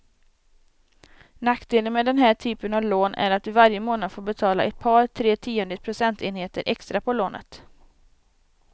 Nackdelen med den här typen av lån är att du varje månad får betala ett par, tre tiondels procentenheter extra på lånet.